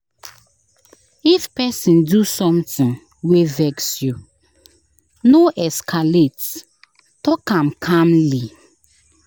If person do something wey vex you, no escalate; talk am calmly.